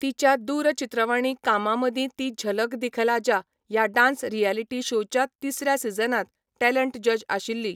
तिच्या दूरचित्रवाणी कामां मदीं ती झलक दिखला जा ह्या डान्स रियलिटी शोच्या तिसऱ्या सीझनांत टॅलेंट जज आशिल्ली.